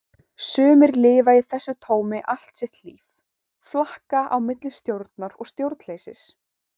Sumir lifa í þessu tómi allt sitt líf, flakka á milli stjórnar og stjórnleysis.